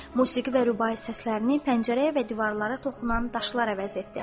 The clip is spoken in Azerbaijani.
Musiqi və rübai səslərini pəncərəyə və divarlara toxunan daşlar əvəz etdi.